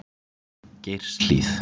Geirshlíð